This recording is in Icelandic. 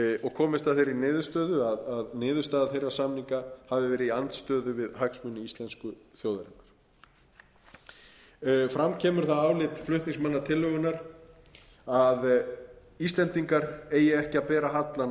og komist að þeirri niðurstöðu að niðurstaða þeirra samninga hafi verið í andstöðu viðhagsmuni íslensku þjóðarinnar fram kemur það álit flutningsmanna tillögunnar að íslendingar eigi ekki að bera hallann